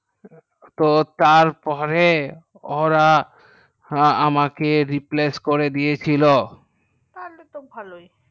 তো তার পরে ওরা আমাকে replace করে দিয়ে ছিল তাহলে তো ভালোই